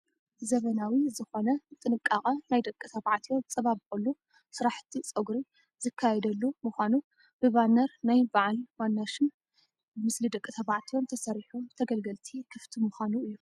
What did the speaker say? ዘመናዊ ዝኾነ ብጥንቃቐ ናይ ደቂ ተባዕትዮ ዝፀባበቑሉ ስራሕቲ ፀጉሪ ዝካየደሉ ምዃኑ ብባነር ናይ በዓል ዋና ሽምን ምስሊ ደቂ ተባዕትዮን ተሰሪሑ ንተገልገልቲ ክፍቲ ምኻኑ እዩ።